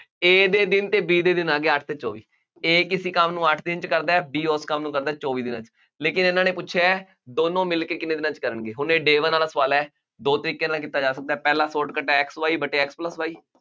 A ਦੇ ਦਿਨ ਅਤੇ B ਦੇ ਦਿਨ ਆ ਗਏ, ਅੱਠ ਅਤੇ ਚੌਵੀ, A ਕਿਸੇ ਕੰਮ ਨੂੰ ਅੱਠ ਦਿਨ ਚ ਕਰਦਾ ਹੈ, B ਉਸ ਕੰਮ ਨੂੰ ਕਰਦਾ ਹੈ, ਚੌਵੀ ਦਿਨਾਂ ਚ, ਲੇਕਿਨ ਇਹਨਾ ਨੇ ਪੁੱਛਿਆ ਹੈ ਦੋਨੋ ਮਿਲਕੇ ਕਿੰਨੇ ਦਿਨਾਂ ਚ ਕਰਨਗੇ, ਹੁਣ ਇਹ day one ਵਾਲਾ ਸਵਾਲ ਹੈ, ਦੋ ਤਰੀਕੇ ਨਾਲ ਕੀਤਾ ਜਾ ਸਕਦਾ, ਪਹਿਲਾ shortcut ਹੈ X Y ਵਟੇ X plus Y